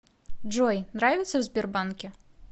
джой нравится в сбербанке